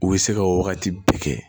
U bɛ se ka o wagati bɛɛ kɛ